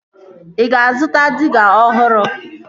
Ị ga-azụta diga ọhụrụ